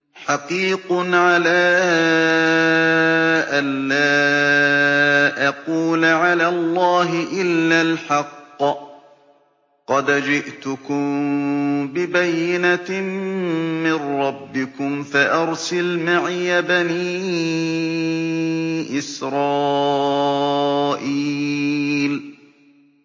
حَقِيقٌ عَلَىٰ أَن لَّا أَقُولَ عَلَى اللَّهِ إِلَّا الْحَقَّ ۚ قَدْ جِئْتُكُم بِبَيِّنَةٍ مِّن رَّبِّكُمْ فَأَرْسِلْ مَعِيَ بَنِي إِسْرَائِيلَ